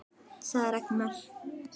sagði Ragnar.